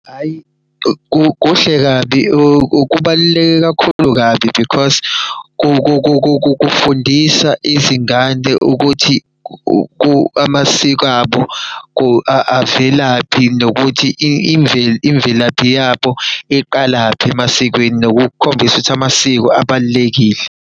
Hhayi kuhle kabi kubaluleke kakhulu kabi because kufundisa izingane ukuthi amasiko abo avelaphi. Nokuthi imvelaphi yabo iqalaphi emasikweni. Nokukhombisa ukuthi amasiko abalulekile.